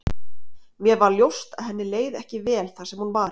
Mér varð ljóst að henni leið ekki vel þar sem hún var.